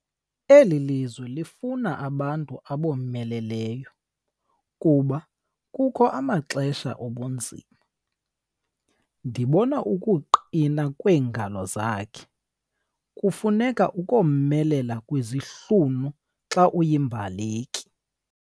Eli lizwe lifuna abantu abomeleleyo kuba kukho amaxesha obunzima. ndibona ukuqina kweengalo zakhe, kufuneka ukomelela kwezihlunu xa uyimbaleki